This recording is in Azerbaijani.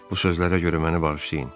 Bu sözlərə görə məni bağışlayın.